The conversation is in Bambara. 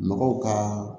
Mɔgɔw ka